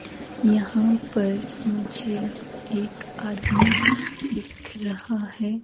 यहां पर मुझे एक आदमी दिख रहा है।